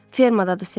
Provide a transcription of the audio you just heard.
Fermadadır, Ser.